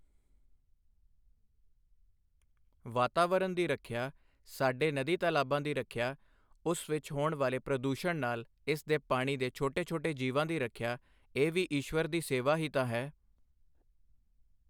ਵਾਤਾਵਰਨ ਦੀ ਰੱਖਿਆ, ਸਾਡੇ ਨਦੀ ਤਲਾਬਾਂ ਦੀ ਰੱਖਿਆ, ਉਸ ਵਿੱਚ ਹੋਣ ਵਾਲੇ ਪ੍ਰਦੂਸ਼ਣ ਨਾਲ ਇਸ ਦੇ ਪਾਣੀ ਦੇ ਛੋਟੇ ਛੋਟੇ ਜੀਵਾਂ ਦੀ ਰੱਖਿਆ ਇਹ ਵੀ ਈਸ਼ਵਰ ਦੀ ਸੇਵਾ ਹੀ ਤਾਂ ਹੈ।